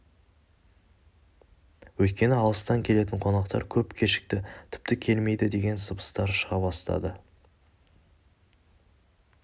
өйткені алыстан келетін қонақтар көп кешікті тіпті келмейді деген сыбыстар шыға бастады